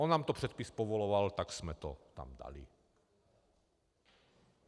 On nám to předpis povoloval, tak jsme to tam dali.